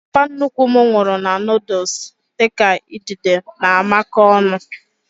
Papa nnukwu m nwuru na noodules dịka idide na amako ọnụ